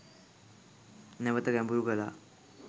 නැවත ගැඹුරු කළා.